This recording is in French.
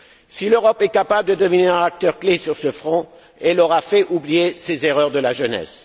Si l'Europe est capable de devenir un acteur clé sur ce front, elle aura fait oublier ses erreurs de jeunesse.